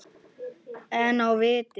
En á vit